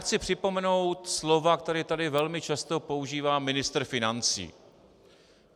Chci připomenout slova, která tady velmi často používá ministr financí.